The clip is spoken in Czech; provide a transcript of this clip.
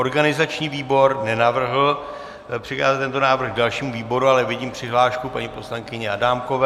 Organizační výbor nenavrhl přikázat tento návrh dalšímu výboru, ale vidím přihlášku paní poslankyně Adámkové.